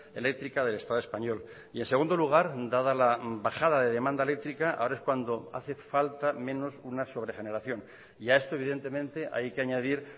eléctrica del estado español y en segundo lugar dada la bajada de demanda eléctrica ahora es cuando hace falta menos una sobre generación y a esto evidentemente hay que añadir